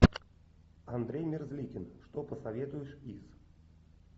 андрей мерзликин что посоветуешь из